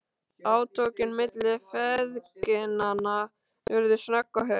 Átökin milli feðginanna urðu snögg og hörð.